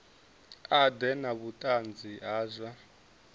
ḓe na vhuṱanzi ha zwa